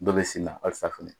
Dɔw bɛ sin na halisa fɛnɛ.